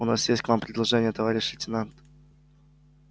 у нас есть к вам предложение товарищ лейтенант